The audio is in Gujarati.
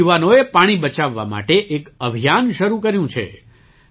ત્યાંના યુવાનોએ પાણી બચાવવા માટે એક અભિયાન શરૂ કર્યું છે